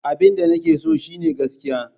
Abinda nake so shine gaskiya.